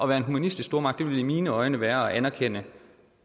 være en humanistisk stormagt ville i mine øjne være at anerkende